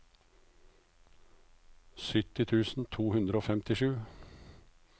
sytti tusen to hundre og femtisju